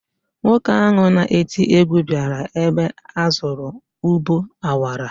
Nwoke ahụ na-eti egwu bịara ebe a zụrụ ụbọ akwara